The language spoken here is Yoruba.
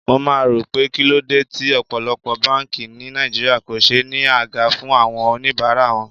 Mo máa ń rò pé kíló dé tí ọ̀pọ̀lọpọ̀ báńkì ni Nàìjíríà kò ṣe ní àga fún àwọn oníbàárà wọn.